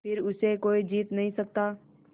फिर उसे कोई जीत नहीं सकता